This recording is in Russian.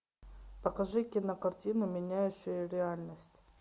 покажи кинокартину меняющие реальность